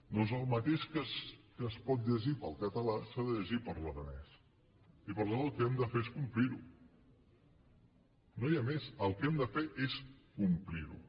doncs el mateix que es pot llegir per al català s’ha de llegir per a l’aranès i per tant el que hem de fer és complir ho no hi ha més el que hem de fer és complir ho